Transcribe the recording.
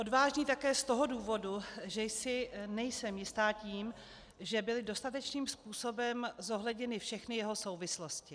Odvážný také z toho důvodu, že si nejsem jista tím, že byly dostatečným způsobem zohledněny všechny jeho souvislosti.